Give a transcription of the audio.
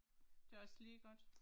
Det er også lige godt